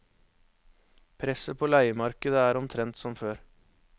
Presset på leiemarkedet er omtrent som før.